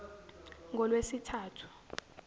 ngolwesithathu